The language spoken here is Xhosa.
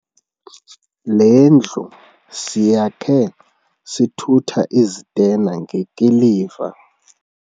Le ndlu siyakhe sithutha izitena ngekiliva.